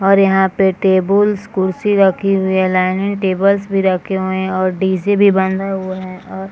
और यहाँ पे टेबल्स कुर्सी लगी हुई है। डाईनिग टेबल भी रखे हुए हैं और डी.जे. भी बंधे हुए है और--